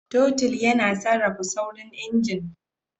Totul yana sarrafa saurin injin.